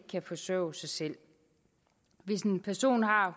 kan forsørge sig selv hvis en person har